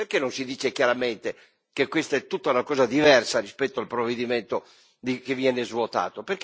Perché non si dice chiaramente che questa è tutta una cosa diversa rispetto al provvedimento che viene svuotato?